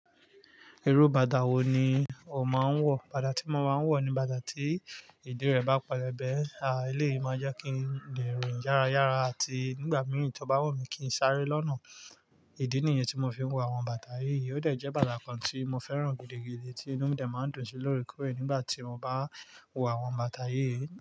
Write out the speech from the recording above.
Irú bàdá wo ni o máa ń wọ̀? Bàdá tí mo máa ń wọ̀ ni bàdá tí ìdí rẹ̀ bá pelẹ̀bẹ́, à eleyii máa jẹ́ kí n lè rìn yára yára àti nígbà mìíràn tí ó bá wù mí kí n sáré lọ́nà. Ìdí nìyẹn tí mo fi ń wọ àwọn bàdá yìí. Ó dẹ̀ jẹ́ bàta kan tí mo fẹ́ràn gidi gidi tí inú mi dẹ̀ máa ń dùn sí lóorekoore nígbà tí mo bá wọ àwọn bàtá yìí.